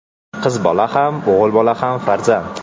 Qiz bola ham, o‘g‘il bola ham farzand.